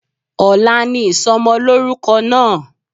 Ọ̀la ni ìsomolórúko náà